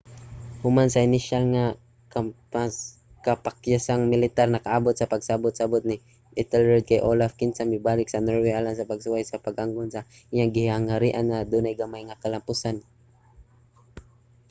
human sa inisyal nga kapakyasang militar nakaabot sa pagsabot-sabot si ethelred kay olaf kinsa mibalik sa norway alang sa pagsuway sa pag-angkon sa iyang gingharian nga adunay gamay nga kalampusan